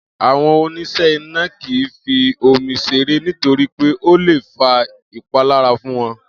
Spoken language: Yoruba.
Àwo̩n onís̩è̩ iná kì í fi omi s̩eré nítorí pé ó le fa ìpalára fún won